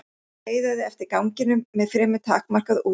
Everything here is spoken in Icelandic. Skeiðaði eftir ganginum með fremur takmarkað útsýni.